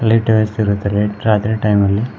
light ವ್ಯವಸ್ಥೆ ಇರುತ್ತದೆ ರಾತ್ರಿ ಟೈಮ್ ಅಲ್ಲಿ--